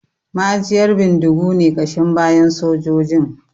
Ma'ajiyar bindigu ne ƙashin bayan sojojin